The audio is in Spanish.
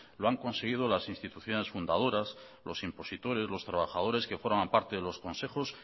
lo han conseguido las instituciones fundadoras los impositores los trabajadores que forman parte de los consejos